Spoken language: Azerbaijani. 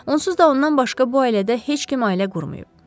Onsuz da ondan başqa bu ailədə heç kim ailə qurmayıb.